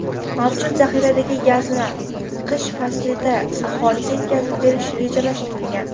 Mavjud zaxiradagi gazni qish faslida aholiga yetkazib berish rejalashtirilgan.